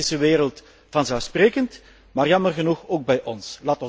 In de islamitische wereld vanzelfsprekend, maar jammer genoeg ook bij ons.